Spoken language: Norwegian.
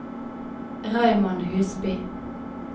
Raymond Husby